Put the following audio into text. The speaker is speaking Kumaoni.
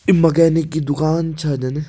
ई मैकेनिक की दुकान छ जन।